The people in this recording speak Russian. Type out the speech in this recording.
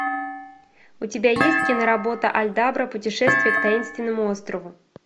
у тебя есть киноработа альдабра путешествие к таинственному острову